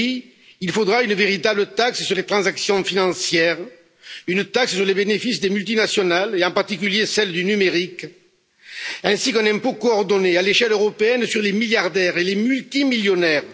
Oui, il faudra une véritable taxe sur les transactions financières, une taxe sur les bénéfices des multinationales, en particulier celles du numérique, ainsi qu'un impôt coordonné à l'échelle européenne sur les milliardaires et les multimillionnaires.